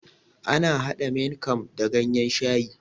Ana hada Maing kam da ganyen shayi